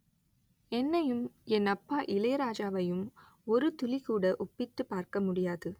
என்னையும் என் அப்பா இளையராஜாவையும் ஒருதுளி கூட ஒப்பிட்டுப் பார்க்க முடியாது